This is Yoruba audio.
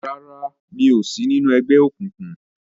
ràrá mi'o sí nínu ègbé òkùnkùn.